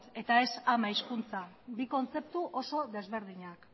eta ez ama hizkuntza bi kontzeptu oso desberdinak